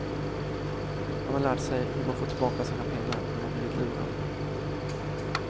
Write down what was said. Man har lärt sig hur man får tillbaka sina pengar när man blivit lurad.